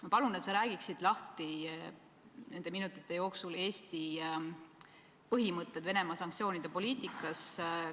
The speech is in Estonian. Ma palun, et sa räägiksid nende minutite jooksul lahti Eesti põhimõtted Venemaa sanktsioonide poliitika osas.